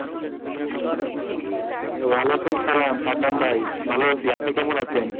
ওয়ালিকুম আসালাম সাদ্দাম ভাই ভালো আছি আপনি কেমন আছে?